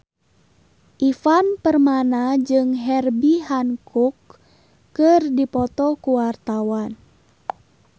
Ivan Permana jeung Herbie Hancock keur dipoto ku wartawan